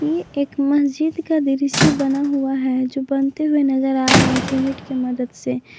ये एक मस्जिद का दृश्य बना हुआ है जो बनते हुए नजर आ रहे हैं सीमेंट के मदद से।